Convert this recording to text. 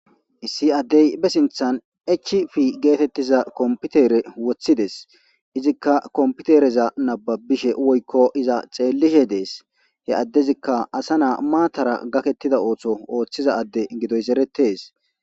Issi ade ba sinththen HP geteththiza kompitere woththides.izika kompitere nabbabishe woykko iza xeelishshe Dee's. he adezika asa naa' maatara gakeththiza ooso ooththidaysi erettes.